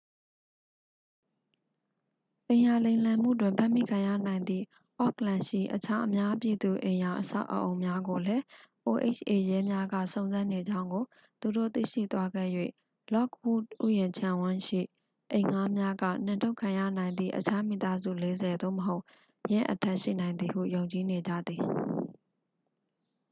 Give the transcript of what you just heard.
အိမ်ရာလိမ်လည်မှုတွင် ဖမ်းမိခံရနိုင်သည့် အော့ခ်လန်ရှိ အခြား အများပြည်သူအိမ်ရာအဆောက်အအုံများကိုလည်း oha ရဲများက စုံစမ်းနေကြောင်းကို သူတို့ သိရှိသွားခဲ့၍ လော့ခ်ဝုဒ်ဥယျာဉ်ခြံဝန်းရှိ အိမ်ငှားများက နှင်ထုတ်ခံရနိုင်သည့် အခြား မိသားစု 40 သို့မဟုတ် ယင်းအထက် ရှိနိုင်သည်ဟု ယုံကြည်နေကြသည်